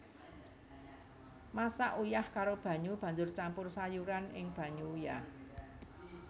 Masak uyah karo banyu banjur campur sayuran ing banyu uyah